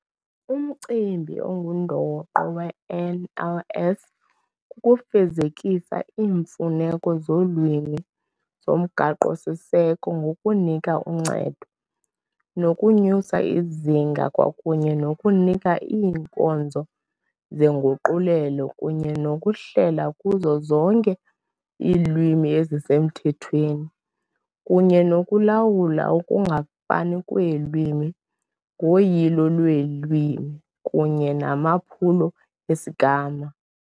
Umcimbi ongundoqo we-NLS kukufezekisa iimfuneko zolwimi zoMgaqo Siseko ngokunika uncedo, nokunyusa izinga kwakunye nokunika iinkonzo zenguqulelo kunye nokuhlela kuzo zonke iilwimi ezisemthethweni kunye nokulawula ukungafani kweelwimi ngoyilo lweelwimi kunye namaphulo esigama.